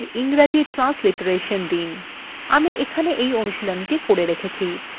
আমি এখানে এই অনুশীলনীthe করে রেখেছি